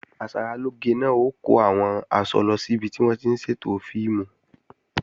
Asaralóge náà ó kó àwọn aṣọ lọ sí ibi tí wọ́n ti ń ṣètò fíìmù